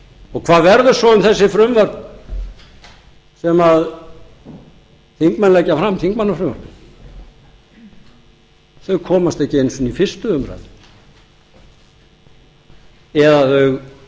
um hvað verður svo um þessi frumvörp sem þingmenn leggja fram þingmannafrumvörpin þau komast ekki einu sinn í fyrstu umræðu eða þau